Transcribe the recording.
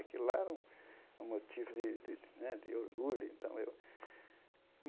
Aquilo lá era um um motivo de de né de orgulho. Então eu